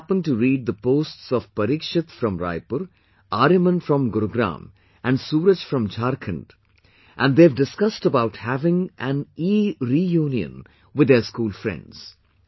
I also happened to read the posts of Pareekshit from Raipur, Aaryaman from Gurugram and Suraj from Jharkhand, and they have discussed about having an ereunion with their school friends